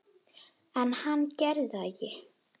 En hann gerir það ekki.